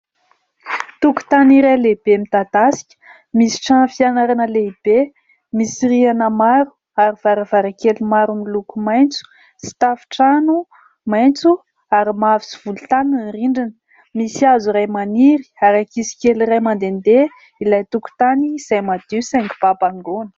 Tokotany iray lehibe midadasika, misy trano fianarana lehibe, misy rihana maro ary varavarankely maro miloko maitso sy tafontrano maitso ary mavo sy volontany ny rindrina. Misy hazo iray maniry ary ankizy kely iray mandendeha ilay tokotany izay madio saingy babangoana.